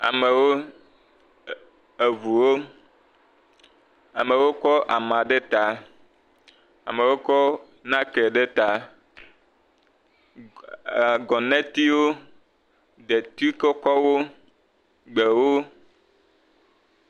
amewo eʋuwo amewo kɔ amá ɖe ta amewo kɔ náke ɖe ta ee gɔnetiwo deti kɔkɔwo gbewo